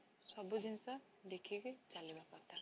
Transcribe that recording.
ସବୁ ଜିନିଷ ଦେଖିକି ଚାଲିବ କଥା